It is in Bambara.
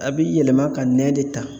A bɛ yɛlɛma ka nɛn de ta.